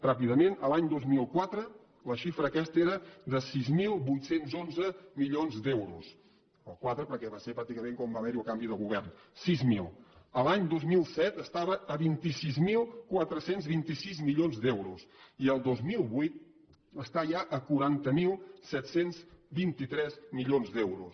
ràpidament a l’any dos mil quatre la xifra aquesta era de sis mil vuit cents i onze milions d’euros al quatre perquè va ser pràcticament quan va haver hi el canvi de govern sis mil a l’any dos mil set estava a vint sis mil quatre cents i vint sis milions d’euros i al dos mil vuit està ja a quaranta mil set cents i vint tres milions d’euros